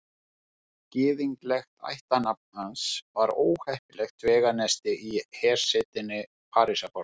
Gyðinglegt ættarnafn hans var óheppilegt vegarnesti í hersetinni Parísarborg.